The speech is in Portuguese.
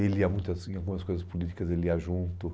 Ele ia muito assim algumas coisas políticas, ele ia junto.